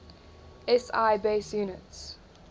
si base units